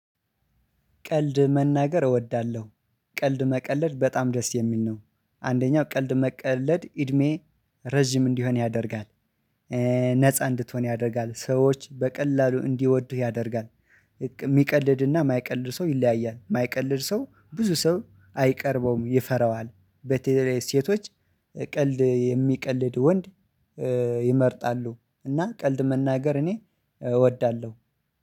ቀልድ መናገር እወዳለሁ። ቀልድ መቀለድ በጣም ደስ የሚል ነው። አንደኛው ቀልድ መቀለድ እድሜ ረጅም እንዲሆን ያደርጋል። ነፃ እንድትሆን ያደርጋል ሰዎች በቀላሉ እንዲወዱህ ያደርጋል። የሚቀልድና የማይቀልድ ሰው ይለያያል የማይቀልድ ሰው ብዙ ሰው አይቀርበውም ይፈራዋል በተለይ ሴቶች ቀልድ የሚቀልድ ወንድ ይመርጣሉ። እና ቀልድ መናገር እኔ እወዳለሁ